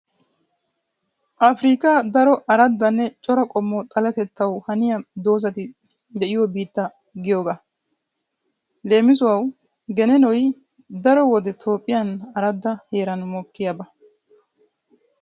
Afirkkiya daro araddanne cora qommo xaletettawu haniya doozati de'iyo biitta biitta giyogaa. Leemisuwawu geneenoy daro wode toophphiyan aradda heeran mokkiyaaba.